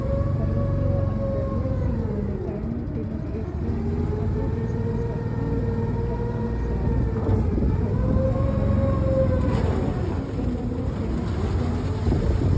પર્વતીય અને દરિયાઈ સીમાઓ ને કારણે તેમજ એશિયાના અન્ય દેશોની સરખામણીએ પ્રમાણમાં સારી ભૌગોલિક ફળદ્રુપતા કારણે તે અનેક આક્રમણનો તેમ જ બ્રિટન નું ના